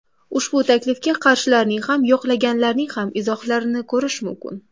Ushbu taklifga qarshilarning ham, yoqlaganlarning ham izohlarini ko‘rish mumkin.